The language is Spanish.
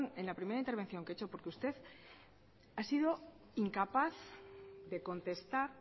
en la primera intervención que he hecho porque usted ha sido incapaz de contestar